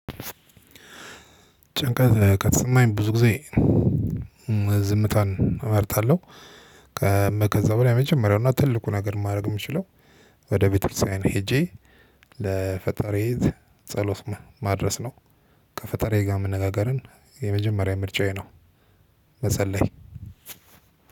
ጭንቀት ከተሰማኝ ብዙ ጊዜ ዝምታን እመርጣለሁ። በላይ የመጀመሪያውና ትልቁ ነገር ማረግ የምችለው ወደ ቤተክርስቲያን ሄጄ ለፈጣሪዬ ጸሎት ማድረስ ነው። ከፈጣሪዬ ጋር መነጋገርን የመጀመሪያ ምርጫዬ ነው። መጸለይ